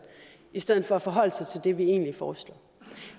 i stedet for at forholde sig til det vi egentlig foreslår